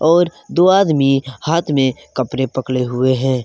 और दो आदमी हाथ में कपड़े पकड़े हुए हैं।